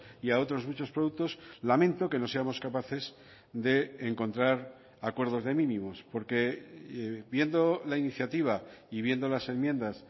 y a otros muchos productos lamento que no seamos capaces de encontrar acuerdos de mínimos porque viendo la iniciativa y viendo las enmiendas